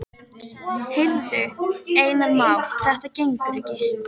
Heyrðu, Einar Már, þetta gengur ekki.